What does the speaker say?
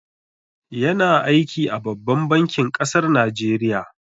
Ya na aiki a babban bankin kasar Najeriya